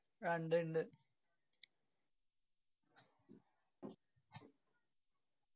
ആ ഇണ്ട് ഇണ്ട്